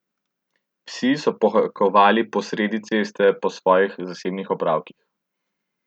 Psi so pohajkovali po sredi ceste po svojih zasebnih opravkih.